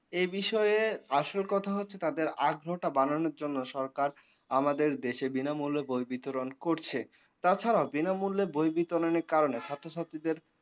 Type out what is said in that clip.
এ বিষয়ে আসল কথা হচ্ছে তাদের আগ্রহ টা বাড়ানোর জন্য সরকার আমাদের দেশে বিনামূল্যে বই বিতরন করছে। তাছাড়াও বিনামুল্যে বই বিতরণের কারণে ছাত্রছাত্রীদের